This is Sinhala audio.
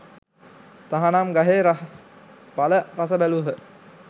තහනම් ගහේ රහස් ඵල රස බැලූහ